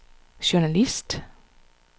journalist